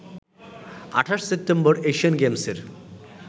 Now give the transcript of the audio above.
২৮ September Asian গেমসের